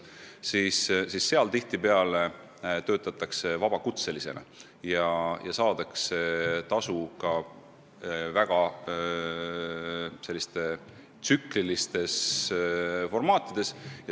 Nendes valdkondades tihtipeale töötatakse vabakutselisena ja saadakse tasu väga tsükliliselt.